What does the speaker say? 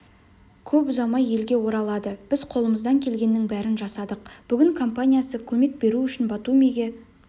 көп ұзамай елге оралады біз қолымыздан келгеннің брін жасадық бүгін компаниясы көмек беру үшін батумиге